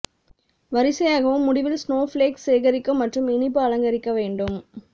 வரிசையாகவும் முடிவில் ஸ்னோஃப்ளேக்ஸ் சேகரிக்க மற்றும் இனிப்பு அலங்கரிக்க வேண்டும்